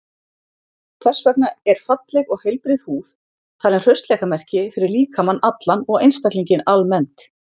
Þess vegna er falleg og heilbrigð húð talin hraustleikamerki fyrir líkamann allan og einstaklinginn almennt.